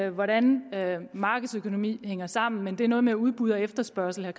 i hvordan markedsøkonomi hænger sammen men det er noget med udbud og efterspørgsel